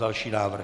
Další návrh.